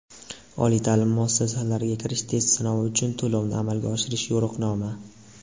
Oliy taʼlim muassasalariga kirish test sinovi uchun to‘lovni amalga oshirish yo‘riqnoma.